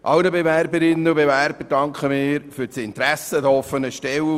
Allen Bewerberinnen und Bewerbern danken wir für ihr Interesse an den offenen Stellen.